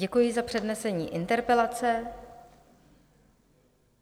Děkuji za přednesení interpelace.